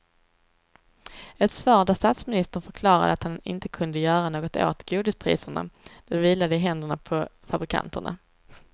Ett svar där statsministern förklarade att han inte kunde göra något åt godispriserna, det vilade i händerna på fabrikanterna.